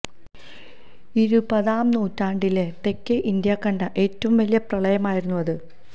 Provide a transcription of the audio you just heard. ഇരുപതാം നൂറ്റാണ്ടില് തെക്കേ ഇന്ത്യ കണ്ട ഏറ്റവും വലിയ പ്രളയമായിരുന്നു അത്